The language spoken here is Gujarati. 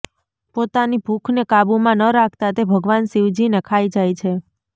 પોતાની ભૂખને કાબુમાં ન રાખતા તે ભગવાન શિવજીને ખાઈ જાય છે